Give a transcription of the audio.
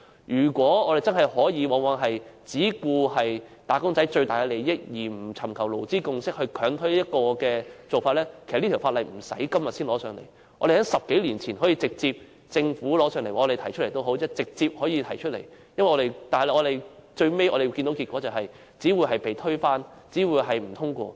如果我們真的可以只顧及"打工仔"的最大利益，而不尋求勞資共識，強推某個做法，其實《條例草案》不用等到現在才提交立法會，在10多年前，政府或議員已可直接提交，但最後結果只會是被推翻，只會是不獲通過。